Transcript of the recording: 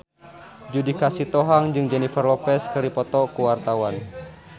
Judika Sitohang jeung Jennifer Lopez keur dipoto ku wartawan